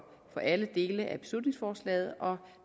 alle dele af beslutningsforslaget og